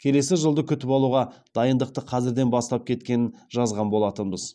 келесі жылды күтіп алуға дайындықты қазірден бастап кеткенін жазған болатынбыз